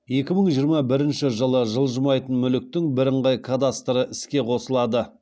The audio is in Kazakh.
екі мың жиырма бірінші жылы жылжымайтын мүліктің бірыңғай кадастры іске қосылады